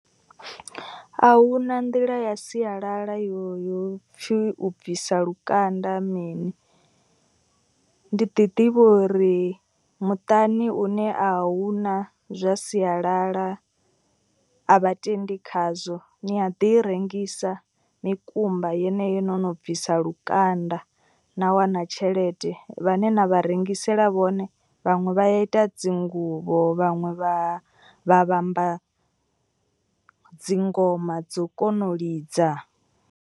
A huna nḓila ya sialala yo yo pfhi u bvisa lukanda mini. Ndi ḓi ḓivha uri muṱani une a huna zwa sialala a vhatendi khazwo. Ni a ḓi rengisa mikumba yeneyo no no bvisa lukanda na wana tshelede. Vhane na vha rengisela vhone vhaṅwe vha ya ita dzinguvho vhaṅwe vha vha vhamba dzingoma dzo kona u lidza.